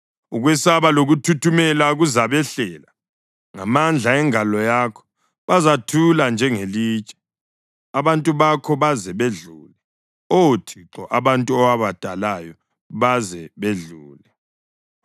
Ukwesaba lokuthuthumela kuzabehlela. Ngamandla engalo yakho, bazathula njengelitshe, abantu bakho baze bedlule, Oh Thixo, abantu owabadalayo baze bedlule.